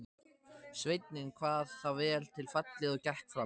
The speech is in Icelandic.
Sveinninn kvað það vel til fallið og gekk fram.